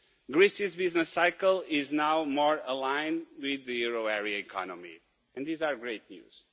Greece's business cycle is now more aligned with the euro area economy and this is great news.